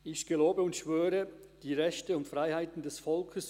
Die Herren Marti, Wenger und Matti leisten den Eid.